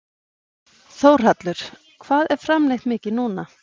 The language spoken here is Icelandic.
Þórhallur: Hvað er framleitt mikið núna?